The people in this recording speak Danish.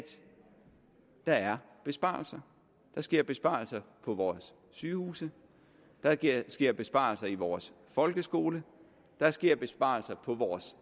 der er besparelser der sker besparelser på vores sygehuse der sker besparelser i vores folkeskole der sker besparelser på vores